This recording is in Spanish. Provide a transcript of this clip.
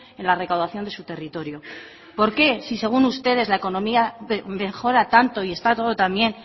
en la recaudación de su territorio por qué si según ustedes la economía mejora tanto y está todo también